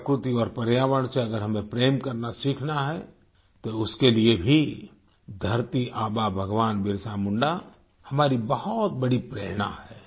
प्रकृति और पर्यावरण से अगर हमें प्रेम करना सीखना है तो उसके लिए भी धरती आबा भगवान बिरसा मुंडा हमारी बहुत बड़ी प्रेरणा हैं